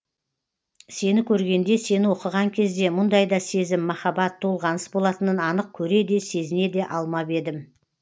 сені көргенде сені оқыған кезде мұндай да сезім махаббат толғаныс болатынын анық көре де сезіне де алмап едім